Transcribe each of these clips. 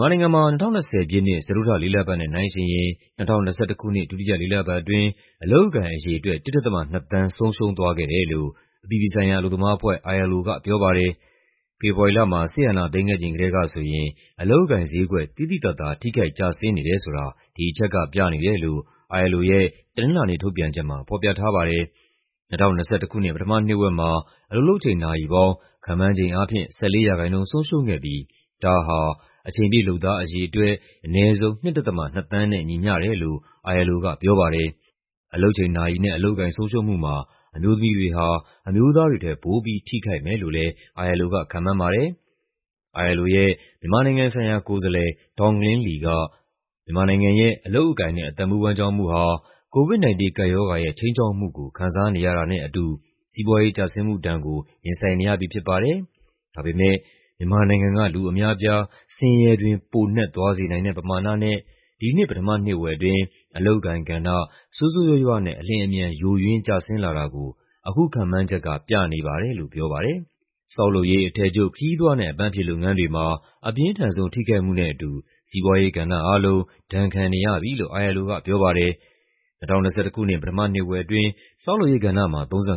မြန်မာနိုင်ငံမှာ ၂၀၂၀ ပြည့်နှစ် စတုတ္ထလေးလပတ်နဲ့ နှိုင်းယှဉ်ရင် ၂၀၂၁ ခုနှစ် ဒုတိယလေးလပတ်အတွင်း အလုပ်အကိုင်အရေအတွက် ၁.၂ သန်း ဆုံးရှုံးသွားခဲ့တယ်လို့ အပြည်ပြည်ဆိုင်ရာအလုပ်သမားအဖွဲ့ (ILO) ကပြောပါတယ်။ ဖေဖော်ဝါရီလမှာ စစ်အာဏာသိမ်းခဲ့ချိန်ကတည်းကဆိုရင် အလုပ်အကိုင်ဈေးကွက် သိသိသာသာ ထိခိုက်ကျဆင်းနေတယ်ဆိုတာ ဒီအချက်ကပြနေတယ်လို့ ILO ရဲ့ တနင်္လာနေ့ထုတ်ပြန်ချက်မှာ ဖော်ပြထားပါတယ်။ ၂၀၂၁ ခုနှစ် ပထမနှစ်ဝက်မှာ အလုပ်လုပ်ချိန်နာရီပေါင်း ခန့်မှန်းခြေအားဖြင့် ၁၄% ဆုံးရှုံးခဲ့ပြီး ဒါဟာ အချိန်ပြည့်လုပ်သားအရေအတွက် အနည်းဆုံး ၂.၂ သန်းနဲ့ ညီမ ျှတယ်လို့ ILO ကပြောပါတယ်။ အလုပ်ချိန်နာရီနဲ့ အလုပ်အကိုင် ဆုံးရှုံးမှုမှာ အမျိုးသမီးတွေဟာ အမျိုးသားတွေထက် ပိုပြီး ထိခိုက်မယ်လို့လည်း ILO က ခန့်မှန်းပါတယ်။ ILO ရဲ့ မြန်မာနိုင်ငံဆိုင်ရာကိုယ်စားလှယ် Donglin Li က "မြန်မာနိုင်ငံရဲ့ အလုပ်အကိုင်နဲ့ အသက်မွေးဝမ်းကျောင်းမှုဟာ COVID-19 ကပ်ရောဂါရဲ့ ခြိမ်းခြောက်မှုကို ခံစားနေရတာနဲ့အတူ စီးပွားရေးကျဆင်းမှုဒဏ်ကို ရင်ဆိုင်နေရပြီဖြစ်ပါတယ်၊ ဒါပေမယ့် မြန်မာနိုင်ငံက လူအများအပြား ဆင်းရဲတွင်း ပိုနက်သွားစေနိုင်တဲ့ပမာဏနဲ့ ဒီနှစ် ပထမနှစ်ဝက်အတွင်း အလုပ်အကိုင်ကဏ္ဍ ဆိုးဆိုးရွားရွားနဲ့ အလျင်အမြန် ယိုယွင်းကျဆင်းလာတာကို အခုခန့်မှန်းချက်က ပြနေပါတယ်" လို့ပြောပါတယ်။ ဆောက်လုပ်ရေး၊ အထည်ချုပ်၊ ခရီးသွားနဲ့ အပန်းဖြေလုပ်ငန်းတွေမှာ အပြင်းထန်ဆုံး ထိခိုက်မှုနဲ့အတူ စီးပွားရေးကဏ္ဍအားလုံး ဒဏ်ခံနေရပြီလို့ ILO ကပြောပါတယ်။ ၂၀၂၁ ခုနှစ် ပထမနှစ်ဝက်အတွင်း ဆောက်လုပ်ရေးကဏ္ဍမှာ ၃၅%၊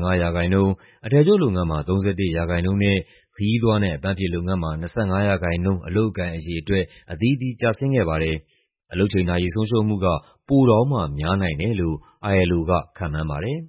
အထည်ချုပ်လုပ်ငန်းမှာ ၃၁% နဲ့ ခရီးသွားနဲ့အပန်းဖြေလုပ်ငန်းမှာ ၂၅% အလုပ်အကိုင်အရေအတွက် အသီးသီးကျဆင်းခဲ့ပါတယ်။ အလုပ်ချိန်နာရီ ဆုံးရှုံးမှုက ပိုတောင်မှ များနိုင်တယ်လို့ ILO က ခန့်မှန်းပါတယ်